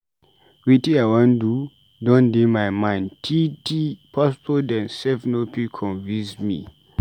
Wetin I wan do don dey my mind tee tee, pastor dem sef no fit convince me.